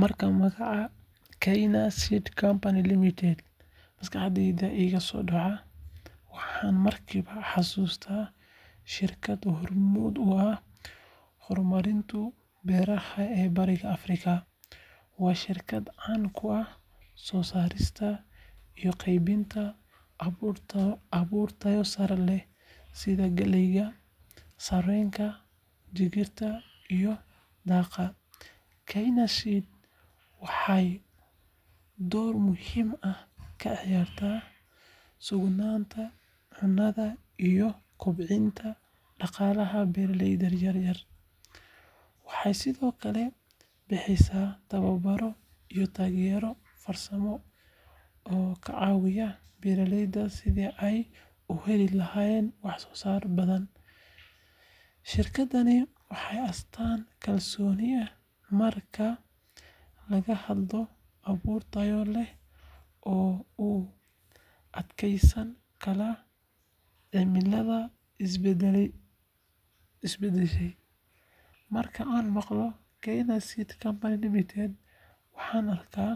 Marka magaca Kenya Seed Company Limited maskaxda iiga soo dhaco, waxaan markiiba xusuustaa shirkad hormuud u ah horumarinta beeraha ee Bariga Afrika. Waa shirkad caan ku ah soo saarista iyo qaybinta abuur tayo sare leh sida galleyda, sarreenka, digirta iyo daaqa. Kenya Seed waxay door muhiim ah ka ciyaartaa sugnaanta cunnada iyo kobcinta dhaqaalaha beeraleyda yaryar. Waxay sidoo kale bixisaa tababaro iyo taageero farsamo oo ka caawiya beeraleyda sidii ay u heli lahaayeen wax-soosaar badan. Shirkaddani waa astaanta kalsoonida marka laga hadlayo abuur tayo leh oo u adkeysan kara cimilada isbedbedesha. Marka aan maqlo Kenya Seed Company Limited, waxaan arkaa